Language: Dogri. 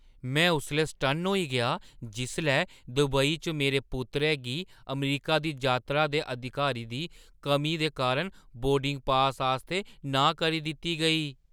में उसलै सटन्न होई गेआ जिसलै दुबई च मेरे पुत्तरै गी अमरीका दी जातरा दे अधिकार दी कमी दे कारण बोर्डिंग पास आस्तै नांह् करी दित्ती गेई।